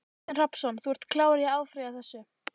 Kristinn Hrafnsson: Þú ert klár á að áfrýja þessu?